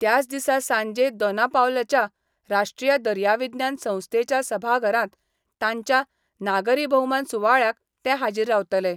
त्याच दिसा सांजे दोनापावलाच्या राश्ट्रीय दर्याविज्ञान संस्थेच्या सभाघरात तांच्या नागरी भौमान सुवाळ्याक ते हाजीर रावतले.